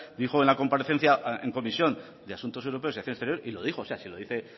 dijo en la comparecencia en comisión de asuntos europeos y acción exterior y lo dijo o sea si lo dice